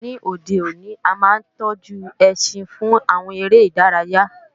Ní òde òní, a máa ń tọ́jú ẹṣin fún àwọn eré ìdárayá